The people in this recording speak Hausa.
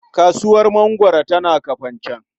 Kasuwar mangwaro tana Kafanchan.